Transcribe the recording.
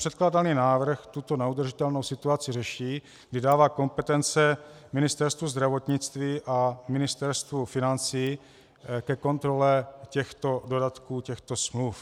Předkládaný návrh tuto neudržitelnou situaci řeší, kdy dává kompetence Ministerstvu zdravotnictví a Ministerstvu financí ke kontrole těchto dodatků, těchto smluv.